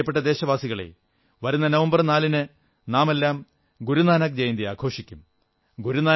എന്റെ പ്രിയപ്പെട്ട ദേശവാസികളേ വരുന്ന നവംബർ 4ന് നാമെല്ലാം ഗുരുനാനക് ജയന്തി ആഘോഷിക്കും